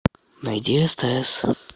найди стс